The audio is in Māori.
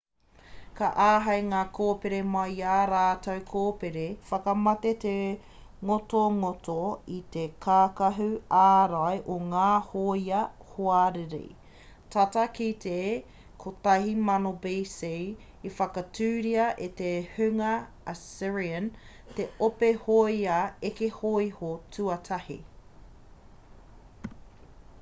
ka āhei ngā kōpere mai i ā rātou kōpere whakamate te ngotongoto i te kākahu ārai o ngā hōia hoariri tata ki te 1000 b.c. i whakatūria e te hunga assyrian te ope hōia eke hōiho tuatahi